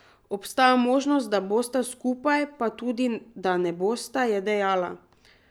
Obstaja možnost, da bosta skupaj, pa tudi, da ne bosta, je dejala.